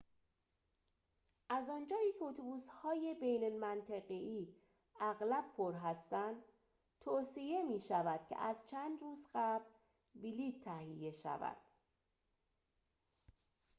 از آنجایی که اتوبوس‌های بین منطقه‌ای اغلب پر هستند توصیه می‌شود که از چند روز قبل بلیط تهیه شود